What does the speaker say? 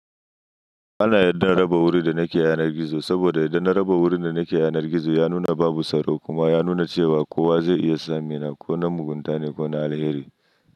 Ana yadda na raba wuri da nake yanar gizo saboda yadda na raba wuri da nake yanar gizo ya nuna babu tsaro kuma ya nuna cewa kowa zai iya tsammina ko na mugunta ne ko na alheri.